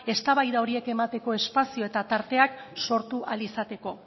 eztabaida horiek emateko espazio eta tarteak sortu ahal izateko